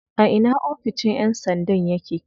A ina oficin yan sandan yake?